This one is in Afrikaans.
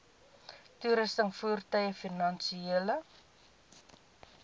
toerusting voertuie finansiële